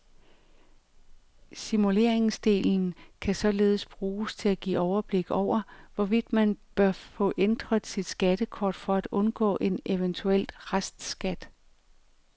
Simuleringsdelen kan således bruges til at give overblik over, hvorvidt man bør få ændret sit skattekort for at undgå en eventuel restskat.